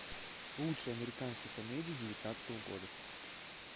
лучшие американские комедии девятнадцатого года